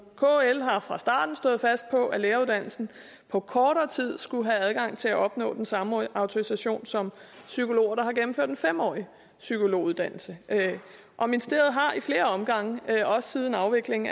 kl har fra starten stået fast på at læreruddannelsen på kortere tid skulle give adgang til at opnå den samme autorisation som psykologer der har gennemført en fem årig psykologuddannelse og ministeriet har i flere omgange også siden afviklingen